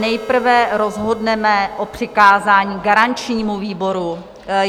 Nejprve rozhodneme o přikázání garančnímu výboru.